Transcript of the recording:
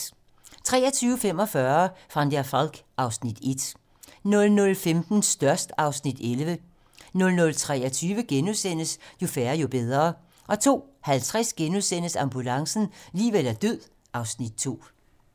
23:45: Van der Valk (Afs. 1) 00:15: Størst (Afs. 11) 00:23: Jo færre, jo bedre * 02:50: Ambulancen - liv eller død (Afs. 2)*